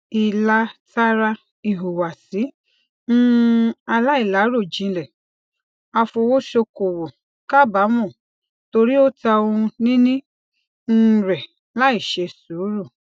ilátara ihuwasi um alailarojinlẹ afowosokowo kabaamọ tori o ta ohunini um rẹ laiṣe suuru